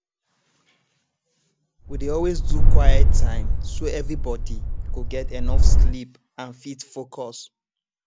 we dey always do quiet time so everybody go get enough sleep and fit focus